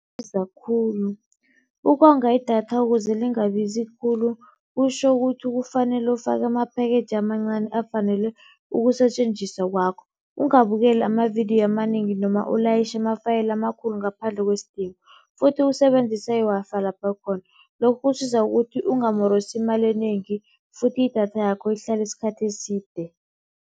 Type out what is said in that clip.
Libiza khulu, ukonga idatha ukuze lingabizi khulu kutjho ukuthi kufanele ufake ama-package amancani afanele ukusetjenziswa kwakho. Ungabukeli amavidiyo amanengi noma ulayitjhe ama-file amakhulu ngaphandle kwesidingo futhi usebenzise i-Wi-Fi lapha khona, lokhu kusiza ukuthi ungamorosi imali enengi futhi idatha yakho ihlale isikhathi eside.